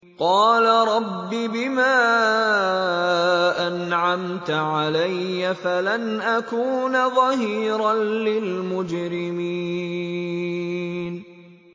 قَالَ رَبِّ بِمَا أَنْعَمْتَ عَلَيَّ فَلَنْ أَكُونَ ظَهِيرًا لِّلْمُجْرِمِينَ